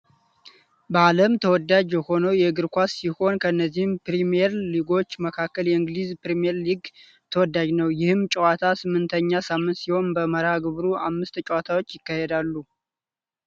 በአለም ተወዳጅ የሆነውን የእግር ኳስ ሲሆን ከነዚህም ፕሪምየር ሊጎች መካከል የእንግሊዝ ፕሪምየር ሊግ ተወዳጅ ነው። ይህም ጨዋታ ስምንተኛ ሳምንት ሲሆን በመርሃ ግብሩም አምስት ጨዋታዎች ይካሄዳሉ ።